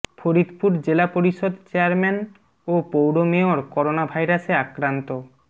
ফরিদপুর জেলা পরিষদ চেয়ারম্যান ও পৌর মেয়র করোনাভাইরাসে আক্রান্ত